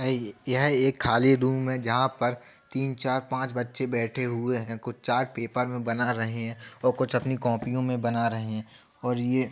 यहाँ एक खाली रूम है। जहाँ पर तीन चार पांच बच्चे बैठे हुए है। कुछ चार्ट पेपर मे बना रहे हैं और कुछ अपने कॉपियो मे बना रहे हैं और ये --